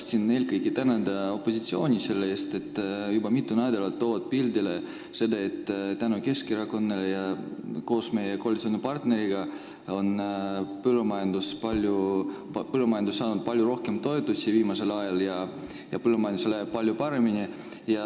Tahtsin eelkõige tänada opositsiooni selle eest, et nad on juba mitu nädalat toonud pildile seda, et tänu Keskerakonnale ja meie koalitsioonipartneritele on põllumajandus saanud viimasel ajal palju rohkem toetusi ja põllumajandusel läheb palju paremini.